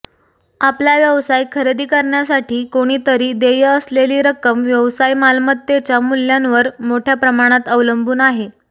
आपला व्यवसाय खरेदी करण्यासाठी कोणीतरी देय असलेली रक्कम व्यवसाय मालमत्तेच्या मूल्यांवर मोठ्या प्रमाणात अवलंबून आहे